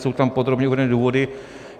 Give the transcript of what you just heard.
Jsou tam podrobně uvedeny důvody.